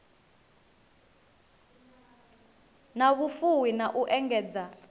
na vhufuwi na u engedza